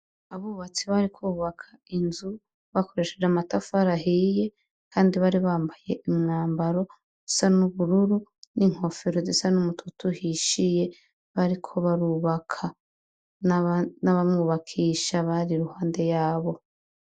Abubatsi bariko bubaka inzu bakoresheje amatafari ahiye kandi bari bambaye umwambaro usa n'ubururu n'inkofero zisa n'umutoto uhishiye bariko barubaka n'abamwubakisha bari iruhande yabo.